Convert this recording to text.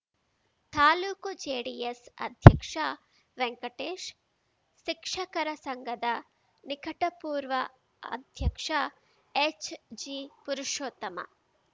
taluk JDS ಅಧ್ಯಕ್ಷ ವೆಂಕಟೇಶ್‌ ಶಿಕ್ಷಕರ ಸಂಘದ ನಿಕಟಪೂರ್ವ ಅಧ್ಯಕ್ಷ ಎಚ್‌ಜಿಪುರುಷೋತ್ತಮ